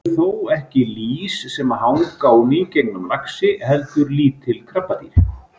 Það eru þó ekki lýs sem hanga á nýgengnum laxi heldur lítil krabbadýr.